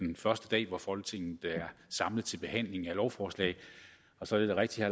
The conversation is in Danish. den første dag hvor folketinget er samlet til behandling af lovforslag og så er det da rigtigt